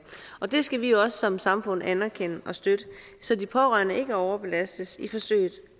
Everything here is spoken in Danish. og det skal vi også som samfund anerkende og støtte så de pårørende ikke overbelastes i forsøget